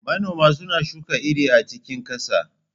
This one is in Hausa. Manoma suna shuka iri a cikin ƙasa.